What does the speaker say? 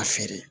A feere